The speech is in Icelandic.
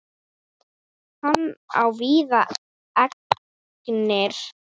Hann á víða eignir.